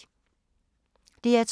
DR2